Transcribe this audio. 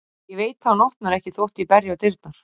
Ég veit að hann opnar ekki þótt ég berji á dyrnar.